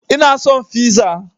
Ina son fiza